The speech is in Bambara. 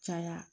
Caya